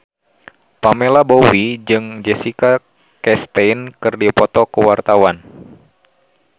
Pamela Bowie jeung Jessica Chastain keur dipoto ku wartawan